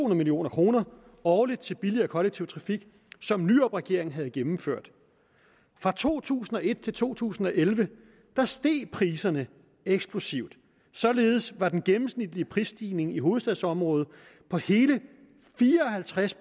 million kroner årligt til billigere kollektiv trafik som nyrupregeringen havde gennemført fra to tusind og et til to tusind og elleve steg priserne eksplosivt således var den gennemsnitlige prisstigning i hovedstadsområdet på hele fire og halvtreds